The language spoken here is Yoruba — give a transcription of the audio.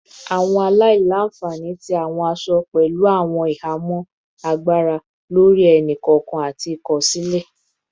Awọn aila-nfani ti awọn aṣọ-aṣọ pẹlu awọn ihamọ agbara lori ẹni-kọọkan ati ikosile